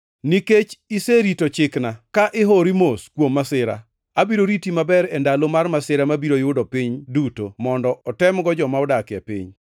Nikech iserito chikna ka ihoyori mos kuom masira, abiro riti maber e ndalo mar masira mabiro yudo piny duto mondo otemgo joma odak e piny.